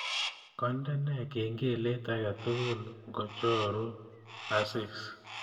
Kandene kengelet age tugul ngocharu asis